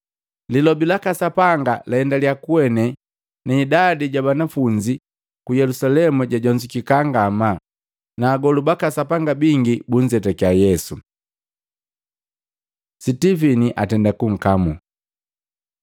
Lilobi laka Sapanga laendalia kuene na idadi ja banafunzi ku Yelusalemu jajonzukeka ngamaa, na agolu baka Sapanga bingi bunzetaki Yesu. Sitivini atenda kunkamu